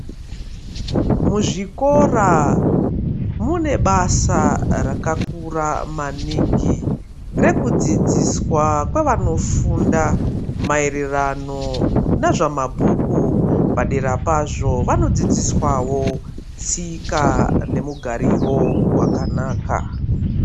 Muzvikora munebasa rakakura maningi rekudzidziswa kwevanofunda maererano nezvemabhuku padera pazvo vanodzidziswawo tsika nemugariro wakanaka.